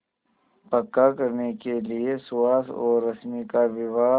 पक्का करने के लिए सुहास और रश्मि का विवाह